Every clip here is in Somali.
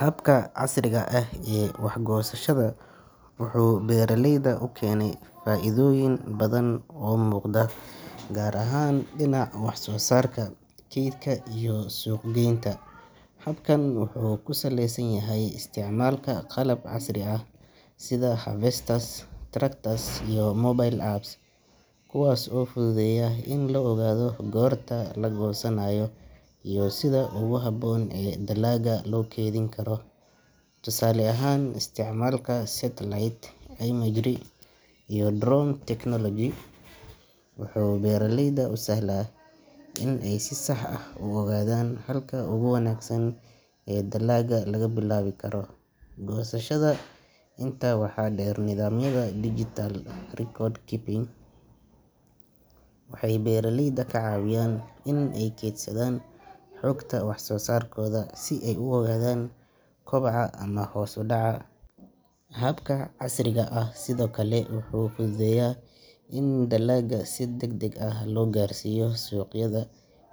Habka casriga ah ee wax-gosashada wuxuu beraleyda u keenay faa’iidooyin badan oo muuqda, gaar ahaan dhinaca wax-soo-saarka, keydka iyo suuq-geynta. Habkan wuxuu ku saleysan yahay isticmaalka qalab casri ah sida harvesters, tractors, iyo mobile apps kuwaas oo fududeeya in la ogaado goorta la goosanayo iyo sida ugu habboon ee dalagga loo kaydin karo. Tusaale ahaan, isticmaalka satellite imagery iyo drone technology wuxuu beraleyda u sahlaa in ay si sax ah u ogaadaan halka ugu wanaagsan ee dalagga laga bilaabi karo goosashada. Intaa waxaa dheer, nidaamyada digital record keeping waxay beeraleyda ka caawiyaan in ay kaydsadaan xogta wax-soo-saarkooda si ay u ogaadaan koboca ama hoos u dhaca. Habka casriga ah sidoo kale wuxuu fududeeyaa in dalagga si degdeg ah loo gaarsiiyo suuqyada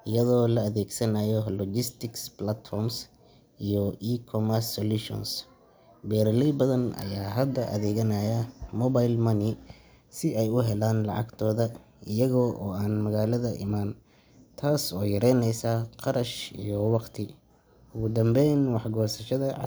iyadoo la adeegsanayo logistics platforms iyo e-commerce solutions. Beraley badan ayaa hadda adeegsanaya mobile money si ay u helaan lacagtooda iyaga oo aan magaalada iman, taas oo yareyneysa kharash iyo waqti. Ugu dambeyn, wax-gosashada casr.